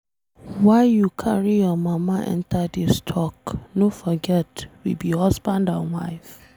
Why you carry your mama enter dis talk, no forget we be husband and wife.